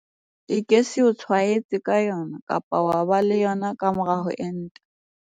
E ke se o tshwaetse ka yona kapa wa ba le yona ka mora ho enta.